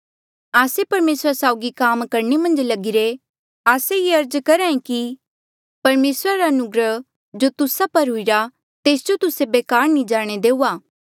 आस्से परमेसरा साउगी काम करणे मन्झ लगिरे आस्से ये अर्ज करहा ऐें कि परमेसरा रा अनुग्रह जो तुस्सा पर हुईरा तेस जो तुस्से बेकार नी जाणे देऊआ